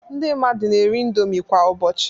Ndị mmadụ na-eri indomi kwa ụbọchị